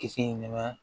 Kisɛ in ma